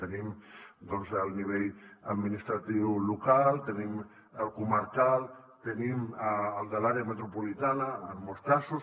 tenim el nivell administratiu local tenim el comarcal tenim el de l’àrea metropolitana en molts casos